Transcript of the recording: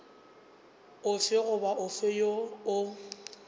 ofe goba ofe woo o